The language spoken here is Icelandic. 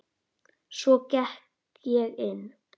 Svo gekk ég inn.